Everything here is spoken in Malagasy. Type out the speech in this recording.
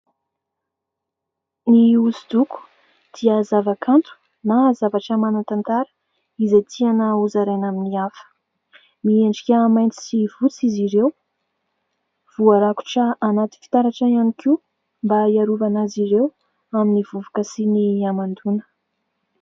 Ny hosodoko dia zavakanto na zavatra manan-tantara izay tiana hozaraina amin'ny hafa, miendrika mainty sy fotsy izy ireo, voarakotra anaty fitaratra ihany koa mba hiarovana azy ireo amin'ny vovoka sy ny hamandona.